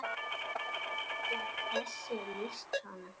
er þessu lýst svona